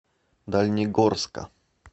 дальнегорска